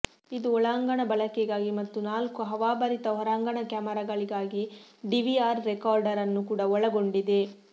ಇದು ಒಳಾಂಗಣ ಬಳಕೆಗಾಗಿ ಮತ್ತು ನಾಲ್ಕು ಹವಾಭರಿತ ಹೊರಾಂಗಣ ಕ್ಯಾಮರಾಗಳಿಗಾಗಿ ಡಿವಿಆರ್ ರೆಕಾರ್ಡರ್ ಅನ್ನು ಕೂಡ ಒಳಗೊಂಡಿದೆ